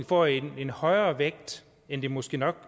får en højere vægt end den måske nok